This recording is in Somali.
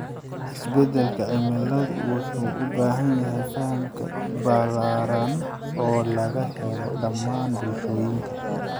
Isbedelka cimiladu wuxuu u baahan yahay faham ballaaran oo laga helo dhammaan bulshooyinka.